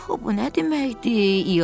Axı bu nə deməkdir?